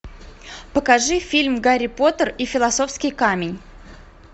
покажи фильм гарри поттер и философский камень